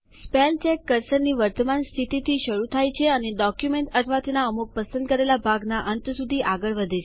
spellcheck કર્સરની વર્તમાન સ્થિતિથી શરૂ થાય છે અને ડોક્યુમેન્ટ અથવા એના અમુક પસંદ કરેલા ભાગના અંત સુધી આગળ વધે છે